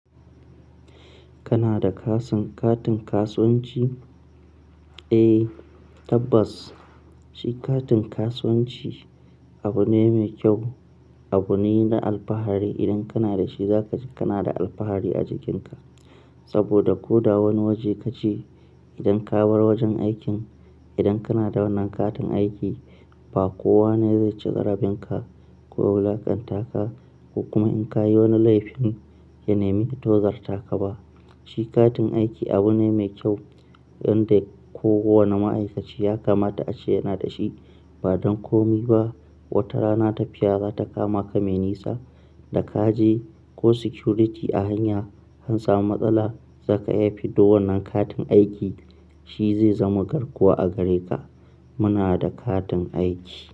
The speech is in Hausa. Kana da kasan katin kasuwanci? Eh tabbas shi katin kasuwanci abu ne mai kyau, abu ne na alfahari idan kana da shi zaka ji kana da alfahari a jikinka. Saboda ko da wani waje kace idan ka bar wajen aikin idan kana da wannan katin aiki ba kowa ne zai ci jarabinka ko wulaƙanta ka, ko kuma in ka yi wani laifin ya nemi fitowar taka ba. Shi katin aiki abu ne mai kyau inda ko wane ma'aikaci ya kamata a ce yana da shi. Ba don komi ba, wata rana tafiya za ta kama ka mai nisa da ka je ko security a hanya an samu matsala zaka iyafi da wannan katin aiki shi zai zama garkuwa a gare ka. Muna da katin aiki.